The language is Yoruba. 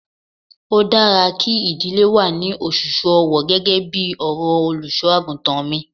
Ó dára kí ìdílé wà ní òṣùṣù ọwọ gẹ́gẹ́ bí ọ̀rọ̀ Olùṣọ́-àgùntàn mi.